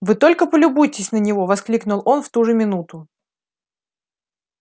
вы только полюбуйтесь на него воскликнул он в ту же минуту